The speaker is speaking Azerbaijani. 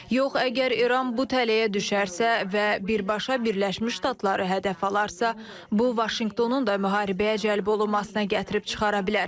Yox, əgər İran bu tələyə düşərsə və birbaşa Birləşmiş Ştatları hədəf alarsa, bu Vaşinqtonun da müharibəyə cəlb olunmasına gətirib çıxara bilər.